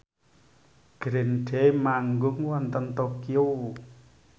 Green Day manggung wonten Tokyo